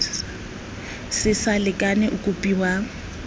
se sa lekana o kopiwa